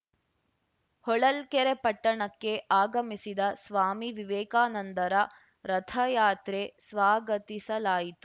ಹೊಳಲ್ಕೆರೆ ಪಟ್ಟಣಕ್ಕೆ ಆಗಮಿಸಿದ ಸ್ವಾಮಿ ವಿವೇಕಾನಂದರ ರಥಯಾತ್ರೆ ಸ್ವಾಗತಿಸಲಾಯಿತು